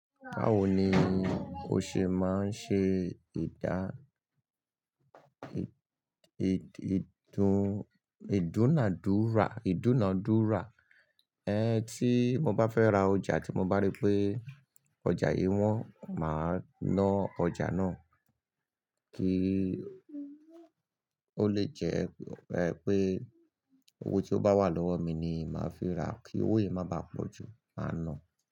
Báwo ni o ṣe máa ń ṣe ìdú-ìdúna-àdúrà? Ẹ̀ tí mo bá fẹ́ ra ọjà tí mo bá rí pé ọjà yìí wọ́n, màá na ọjà náà, kí ó lè jẹ́ pé owó tí ó bá wà lọ́wọ́ mi ni màá fi ra, kí owó yìí má bàá pọ̀jù, màá na.